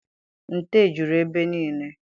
Nte juru ebe nile.